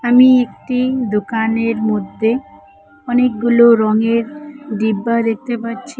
আমি একটি দোকানের মদ্যে অনেকগুলো রঙের ডিব্বা দেখতে পাচ্ছি।